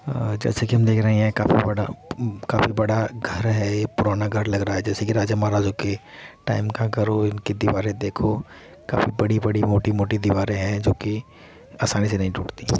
अ जैसे की हम देख रहे है यह काफी बड़ा अम्म काफी बड़ा घर है | पुराना घर लग रहा है जैसे की राजा महाराजा के टाइम का घर हो| इनकी दीवारें देखो काफी बड़ी-बड़ी मोटी-मोटी दीवारें है जो कि आसानी से नहीं टूटती |